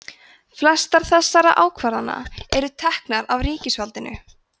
flestar þessara ákvarðana eru teknar af ríkisvaldinu